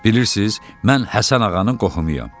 Bilirsiz, mən Həsən Ağanın qohumuyam.